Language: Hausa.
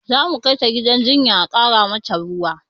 Zamu kai ta gidan jinya a ƙara mata ruwa